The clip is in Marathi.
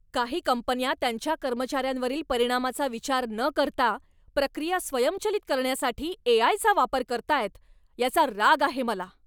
काही कंपन्या त्यांच्या कर्मचाऱ्यांवरील परिणामाचा विचार न करता प्रक्रिया स्वयंचलित करण्यासाठी ए. आय. चा वापर करतायत याचा राग आहे मला.